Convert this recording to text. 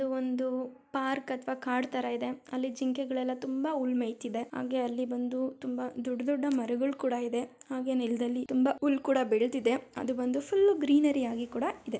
ಇದು ಒಂದು ಪಾರ್ಕ್ ಅಥವಾ ಕಾಡು ತರ ಇದೆ ಅಲ್ಲಿ ಜಿಂಕೆಗಳೆಲ್ಲ ತುಂಬಾ ಹುಲ್ಲು ಮೇಯ್ತಿದೆ ಹಾಗೆ ಅಲ್ಲಿ ಬಂದು ತುಂಬಾ ದೊಡ್ಡ ದೊಡ್ಡ ಮರಗಳು ಕೂಡ ಇದೆ ಹಾಗೆ ನೆಲದಲ್ಲಿ ತುಂಬಾ ಹುಲ್ಲು ಕೂಡ ಬೆಳೆದಿದೆ ಅದು ಬಂದು ಫುಲ್ ಗ್ರೀನರಿ ಆಗಿ ಕೂಡ ಇದೆ.